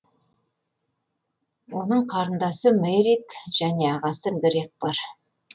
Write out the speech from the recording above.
оның қарындасы мерритт және ағасы грег бар